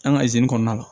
An ka kɔnɔna la